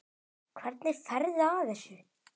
Hvernig ferðu að þessu?